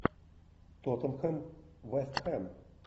тоттенхэм вест хэм